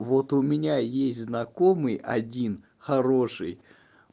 вот у меня есть знакомый один хороший